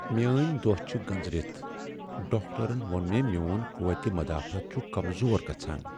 میٲنۍ دۄہ چھِ گنزرِتھ ۔ ڈاکٹرن ووٚن مےٚ میون قوت مدافعت چُھ کمزور گژھان۔